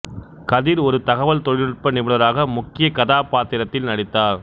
கதிர் ஒரு தகவல் தொழில்நுட்ப நிபுணராக முக்கிய கதாபாத்திரத்தில் நடித்தார்